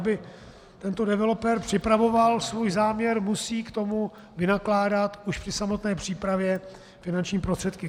Aby tento developer připravoval svůj záměr, musí k tomu vynakládat už při samotné přípravě finanční prostředky.